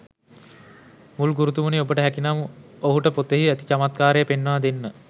මුල් ගුරුතුමනි ඔබට හැකිනම් ඔහුට පොතෙහි ඇති චමත්කාරය පෙන්වා දෙන්න.